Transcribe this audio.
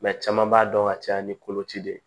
caman b'a dɔn ka caya ni koloci de ye